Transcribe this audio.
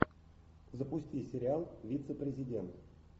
запусти сериал вице президент